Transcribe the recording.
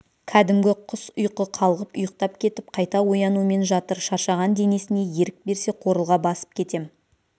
кәдімгі құс ұйқы қалғып ұйықтап кетіп қайта оянумен жатыр шаршаған денесіне ерік берсе қорылға басып кетем